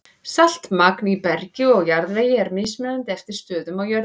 Saltmagn í bergi og jarðvegi er mismunandi eftir stöðum á jörðinni.